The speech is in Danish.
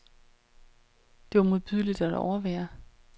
Det var modbydeligt at overvære.